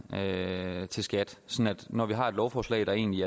til skat sådan at når vi har et lovforslag der egentlig